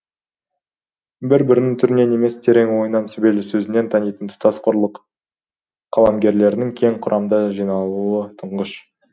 бір бірін түрінен емес терең ойынан сүбелі сөзінен танитын тұтас құрлық қаламгерлерінің кең құрамда жиналуы тұңғыш